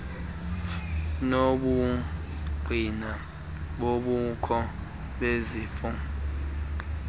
nobungqina bobukho bezifo